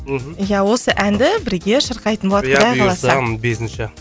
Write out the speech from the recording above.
мхм ия осы әнді бірге шырқайтын болады құдай қаласа ия бұйырса бесінші